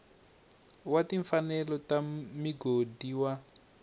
wa timfanelo ta migodi wa